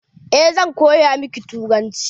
Eh zan koya miki turanci.